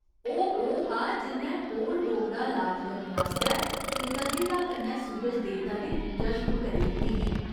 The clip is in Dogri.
ओह् ओह् हा जि'न्नै कोढ़ रोग दा लाज करने आस्तै कृतज्ञता कन्नै सूरज देवता दी पूजा शुरू करी दित्ती ही।